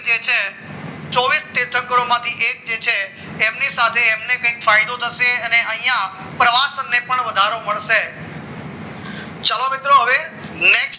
ચોવીસ માઠી એક જે છે એમની સાથે એમને કંઈ ફાયદો થશે અને અહીંયા પ્રવાસ અપને પણ વધારો મળશે ચાલો મિત્રો હવે next